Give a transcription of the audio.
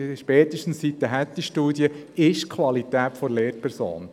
Spätestens seit der «Hattie-Studie» weiss man das.